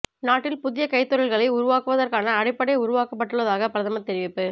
நாட்டில் புதிய கைத்தொழில்களை உருவாக்குவதற்கான அடிப்படை உருவாக்கப்பட்டுள்ளதாக பிரதமர் தெரிவிப்பு